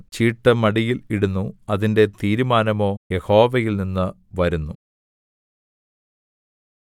ചീട്ട് മടിയിൽ ഇടുന്നു അതിന്റെ തീരുമാനമോ യഹോവയിൽനിന്ന് വരുന്നു